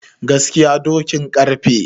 Gaskiya dokin karfe